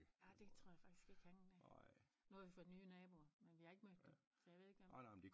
Ja det tror jeg faktisk ikke han øh nu har vi fået nye naboer men vi har ikke mødt dem så jeg ved ikke om